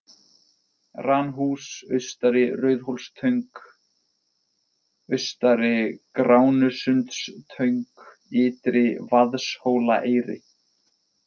Ranhús, Austari Rauðhólstöng, Austari Gránusundstöng, Ytri -Vaðshólaeyri